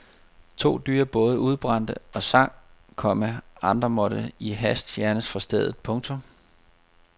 To dyre både udbrændte og sank, komma andre måtte i hast fjernes fra stedet. punktum